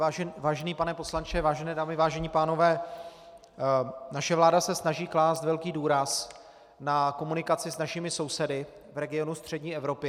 Vážený pane poslanče, vážené dámy, vážení pánové, naše vláda se snaží klást velký důraz na komunikaci s našimi sousedy v regionu střední Evropy.